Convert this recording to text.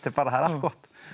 það er allt gott